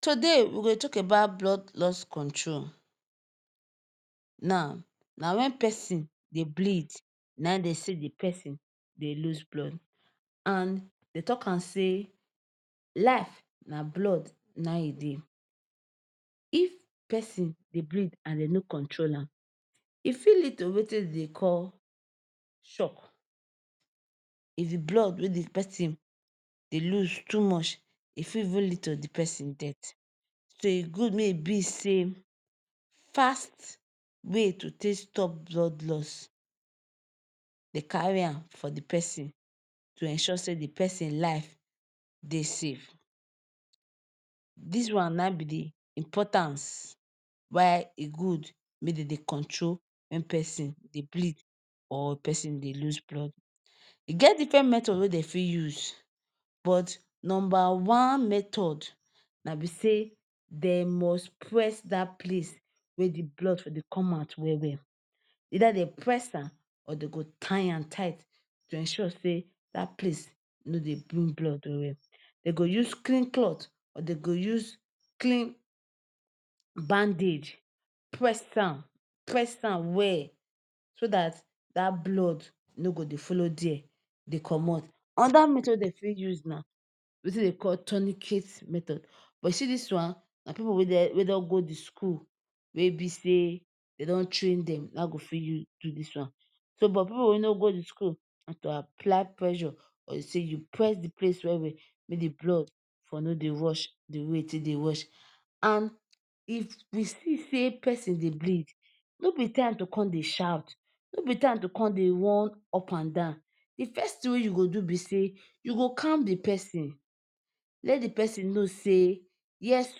Today we go dey talk about blood loss control, now, na when person dey bleed na dey say de person dey loss blood and dey talk am say life na blood na e dey. If person dey bleed dem nor control am e fit lead to wetin dem dey call shock if de blood wey de person dey lose too much e fit even lead to de person death so e good make e be say fast way to take stop blood lose dey carry am for de person to ensure say de person life dey safe dis one na e be de importance why e good make dem dey control when person dey bleed or person dey lose blood. E get different method wey dem fit use but number one method na be say dem must press dat place where blood for dey come out well well either dem press am or dem go tire am tight to ensure say dat place nor dey bring blood well well dem go use clean cloth or dem go use clean bandage press am, press am well so dat blood nor go dey follow there dey commot. Another method wey dem fit use na, na wetin dem dey call tunicate method but you see dis one na pipu wey don go de school wey be say dem don train dem na go fit use do dis one but pipu wey nor go de school na to apply pressure you press de place well well make de blood for no dey rush de wey way e take dey rush and if we see say person dey bleed nor be time to come dey shout nor be time to come dey run up and down. De first you go do be sey na to calm the person let de person know say yes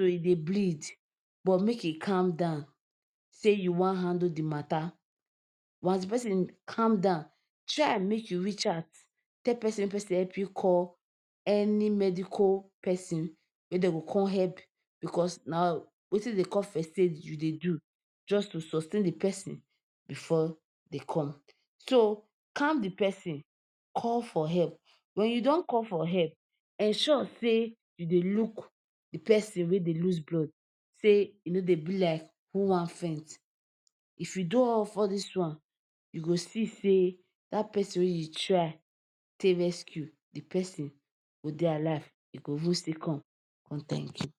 e dey bleed but make e calm down sey you wan handle de matter calm down try make you reach out tell person make person help you call any medical person wey dem go come help because na wetin dem dey call first aid you de do just to sustain de person before dey come so if you calm de person call for help when you don call for help ensure sey you dey look de person wey dey lose blood sey e nor dey be like who wan faint if you do all these one you go see sey dat person wey you try take rescue de person go dey alive e go even still come, come thank you.